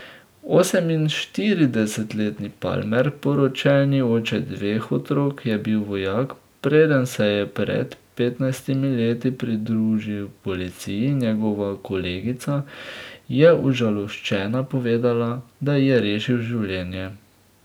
Oseminštiridesetletni Palmer, poročeni oče dveh otrok, je bil vojak, preden se je pred petnajstimi leti pridružil policiji, njegova kolegica je užaloščena povedala, da ji je rešil življenje.